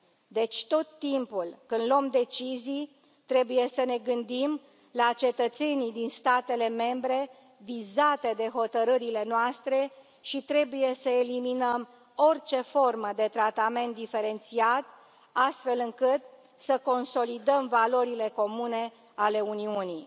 Deci, tot timpul, când luăm decizii, trebuie să ne gândim la cetățenii din statele membre vizate de hotărârile noastre și trebuie să eliminăm orice formă de tratament diferențiat, astfel încât să consolidăm valorile comune ale Uniunii.